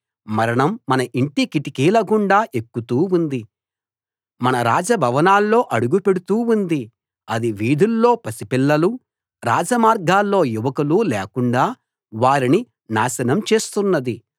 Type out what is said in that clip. మరణం మన ఇంటి కిటికీల గుండా ఎక్కుతూ ఉంది మన రాజభవనాల్లో అడుగు పెడుతూ ఉంది అది వీధుల్లో పసిపిల్లలు రాజమార్గాల్లో యువకులు లేకుండా వారిని నాశనం చేస్తున్నది